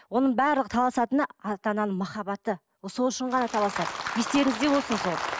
оның барлығы таласатыны ата ананың махаббаты ол сол үшін ғана таласады естеріңізде болсын сол